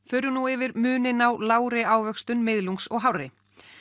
förum nú yfir muninn á lágri ávöxtun miðlungs og hárri